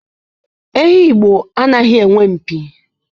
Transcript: Ehi Igbo anaghị enwe mpi.